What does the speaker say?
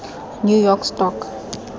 new york stock